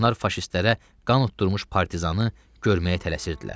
Onlar faşistlərə qan uddurmuş partizanı görməyə tələsirdilər.